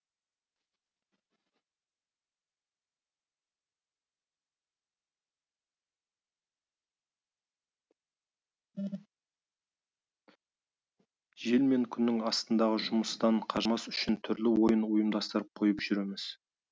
жел мен күннің астындағы жұмыстан қажымас үшін түрлі ойын ұйымдастырып қойып жүреміз